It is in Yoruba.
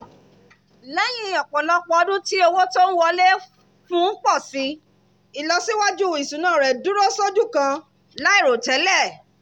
lẹ́yìn ọ̀pọ̀lọpọ̀ ọdún tí owó tó ń wọlé fún un pọ̀ si ìlọsíwájú ìṣúná rẹ̀ dúró sójú kan láìròtẹ́lẹ̀